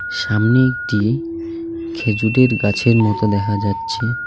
সামনে একটি খেজুরের গাছের মতো দেখা যাচ্ছে.